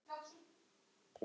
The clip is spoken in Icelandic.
Það var og örn mikill.